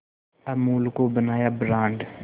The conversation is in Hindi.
अमूल को बनाया ब्रांड